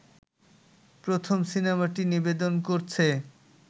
প্রথম সিনেমাটি নিবেদন করছে